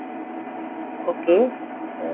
okay ਅਹ